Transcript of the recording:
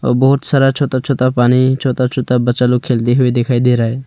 बहुत सारा छोटा छोटा पानी छोटा छोटा बच्चा लोग खेलते हुए दिखाई दे रहा है।